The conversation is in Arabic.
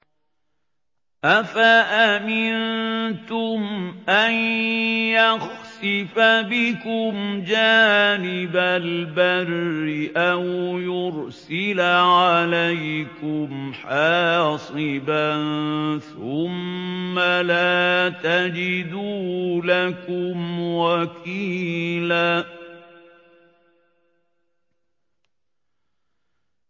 أَفَأَمِنتُمْ أَن يَخْسِفَ بِكُمْ جَانِبَ الْبَرِّ أَوْ يُرْسِلَ عَلَيْكُمْ حَاصِبًا ثُمَّ لَا تَجِدُوا لَكُمْ وَكِيلًا